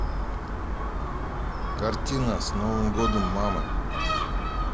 картина с новым годом мамы